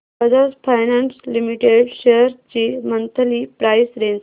Bajaj finance limited shares ची monthly price range